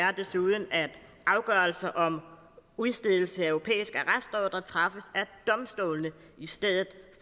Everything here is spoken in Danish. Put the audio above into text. er desuden at afgørelser om udstedelse af europæiske af domstolene i stedet